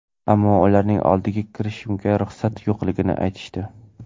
Ammo ularning oldiga kirishimga ruxsat yo‘qligini aytishdi.